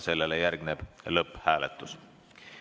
Sellele järgneb lõpphääletus.